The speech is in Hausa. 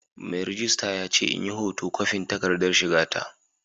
Mai rejista ya ce in yi hoto kwafin takardar shiga ta.